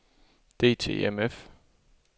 DTMF